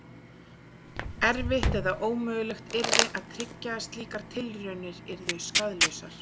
Erfitt eða ómögulegt yrði að tryggja að slíkar tilraunir yrðu skaðlausar.